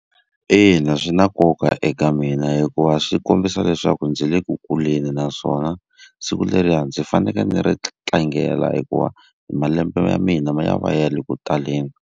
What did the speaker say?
Ina swi na nkoka eka mina hikuva swi kombisa leswaku ndzi le ku kuleni naswona siku leriya ndzi fanekele ndzi ri tlangela hikuva malembe ya mina ma ya va ya le ku taleni.